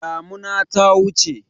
Damuna ta wuce.